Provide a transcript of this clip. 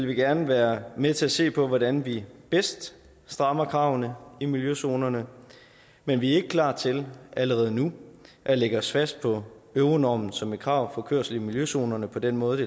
vi gerne være med til at se på hvordan vi bedst strammer kravene i miljøzonerne men vi er ikke klar til allerede nu at lægge os fast på euronormen som et krav for kørsel i miljøzonerne på den måde